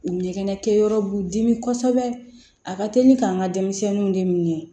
U ɲɛgɛnɛ kɛ yɔrɔ b'u dimi kosɛbɛ a ka teli k'an ka denmisɛnninw de minɛ